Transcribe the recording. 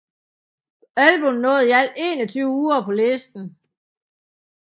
Albummet nåede i alt 21 uger på listen